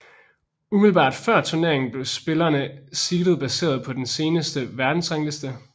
Umiddelbart før turneringen blev spillerne seeded baseret på den seneste verdensrangliste